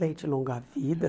Leite longa-vida.